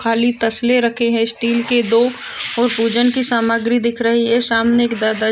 खाली तसले रखी हैं स्टील के दो और पूजन की सामग्री दिख रही है शामने एक दादा--